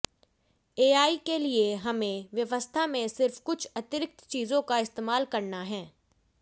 AI के लिए हमें व्यवस्था में सिर्फ कुछ अतिरिक्त चीजों का इस्तेमाल करना है